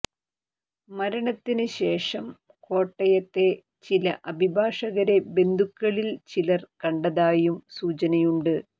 മരണത്തിന് ശേഷം കോട്ടയത്തെ ചില അഭിഭാഷകരെ ബന്ധുക്കളിൽ ചിലർ കണ്ടതായും സൂചനയുണ്ട്